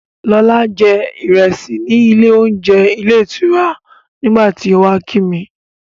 Lọlá jẹ ìrẹsì ní ilé-oúnje ilé-ìtura nígbà tí ó wá kí mi.